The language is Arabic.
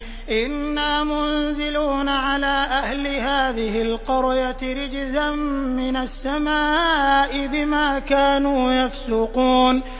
إِنَّا مُنزِلُونَ عَلَىٰ أَهْلِ هَٰذِهِ الْقَرْيَةِ رِجْزًا مِّنَ السَّمَاءِ بِمَا كَانُوا يَفْسُقُونَ